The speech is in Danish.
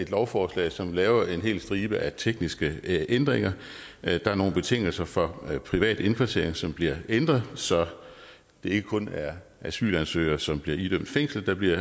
lovforslag som laver en hel stribe af tekniske ændringer der er nogle betingelser for privat indkvartering som bliver ændret så det ikke kun er asylansøgere som bliver idømt fængsel der bliver